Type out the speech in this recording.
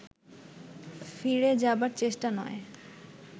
ফিরে যাবার চেষ্টা নয়